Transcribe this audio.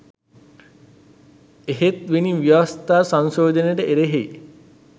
එහෙත්වෙනි ව්‍යවස්ථා සංශෝධනයට එරෙහි